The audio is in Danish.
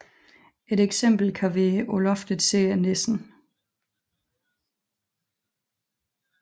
Et eksempel kan være På loftet sidder nissen